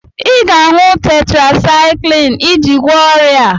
Ị ga-aṅụ tetrasaịkịlịn iji gwọọ ọrịa a